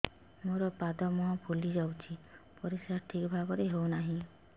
ମୋର ପାଦ ମୁହଁ ଫୁଲି ଯାଉଛି ପରିସ୍ରା ଠିକ୍ ଭାବରେ ହେଉନାହିଁ